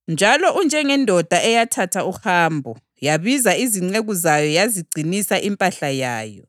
“Njalo unjengendoda eyathatha uhambo, yabiza izinceku zayo yazigcinisa impahla yayo.